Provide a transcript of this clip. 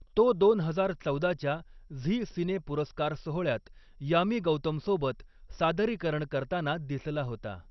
तो दोन हजार चौदाच्या झी सिने पुरस्कार सोहळ्यात यामी गौतमसोबत सादरीकरण करताना दिसला होता.